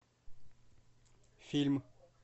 фильм